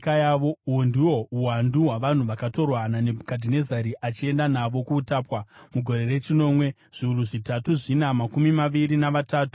Uhu ndihwo uwandu hwavanhu vakatorwa naNebhukadhinezari achienda navo kuutapwa: mugore rechinomwe, zviuru zvitatu zvina makumi maviri navatatu, zvavaJudha;